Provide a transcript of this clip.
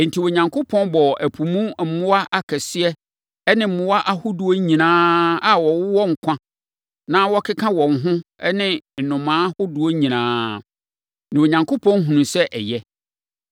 Enti, Onyankopɔn bɔɔ ɛpo mu mmoa akɛseɛ ne mmoa ahodoɔ nyinaa a wɔwɔ nkwa na wɔkeka wɔn ho ne nnomaa ahodoɔ nyinaa. Na Onyankopɔn hunuu sɛ ɛyɛ.